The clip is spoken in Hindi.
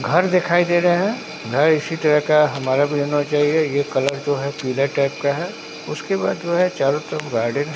घर दिखाई दे रहे हैं घर इसी तरह का हमारा भी होना चाहिए ये कलर जो है पीला टाइप का है उसके बाद जो है चारों तरफ गार्डन है।